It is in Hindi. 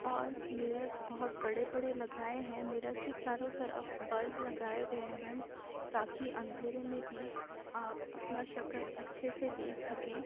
और मिरर बहत बड़े-बड़े लगाए हैं। मिरर के चारों तरफ बल्ब लगाए गए हैं ताकि अँधेरे में भी आप अपना शक्ल अच्छे से देख सकें।